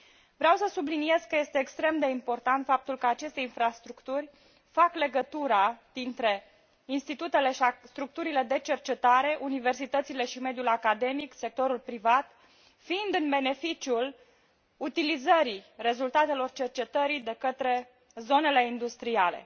Vreau să subliniez că este extrem de important faptul că aceste infrastructuri fac legătura dintre institutele și structurile de cercetare, universități, mediul academic și sectorul privat, fiind în beneficiul utilizării rezultatelor cercetării de către zonele industriale.